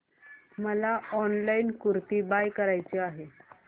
मला online kurti buy करायची आहे